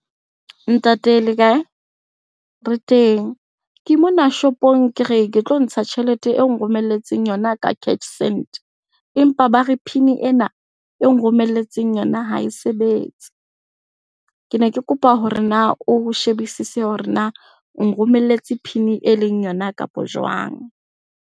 Ntate le kae? Re teng. Ke mona shopong ke re, ke tlo ntsha tjhelete eo nromelletseng yona ka cash send, empa ba re PIN ena eo nromelletseng yona ha e sebetse. Ke ne ke kopa hore na o shebisise hore na o nromelletse PIN e leng yona kapo jwang.